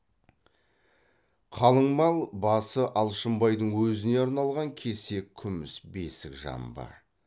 қалыңмал басы алшынбайдың өзіне арналған кесек күміс бесік жамбы